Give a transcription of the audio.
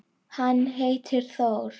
Hann heitir Þór.